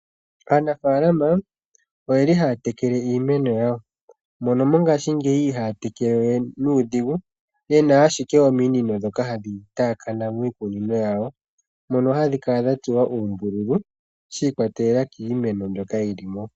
Aanafaalama oyeli haya tekele iimeno yawo. Mono mongaashingeyi ihaaya tekelewe nuudhigu mono yena ashike ominino ndhoka hadhi taakana miikunino yawo. Mono hadhi kala dha tsuwa uumbululu shiikwatelela kiimeno mbyoka yilimo.